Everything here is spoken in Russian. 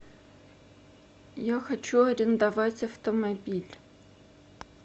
я хочу арендовать автомобиль